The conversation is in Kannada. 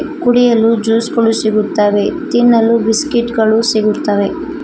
ಕುಡಿಯಲು ಜ್ಯೂಸ್ ಗಳು ಸಿಗುತ್ತವೆತಿನ್ನಲು ಬಿಸ್ಕೆಟ್ ಗಳು ಸಿಗುತ್ತವೆ.